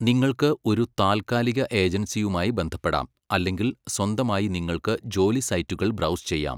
നിങ്ങൾക്ക് ഒരു താൽക്കാലിക ഏജൻസിയുമായി ബന്ധപ്പെടാം അല്ലെങ്കിൽ സ്വന്തമായി നിങ്ങൾക്ക് ജോലി സൈറ്റുകൾ ബ്രൗസ് ചെയ്യാം.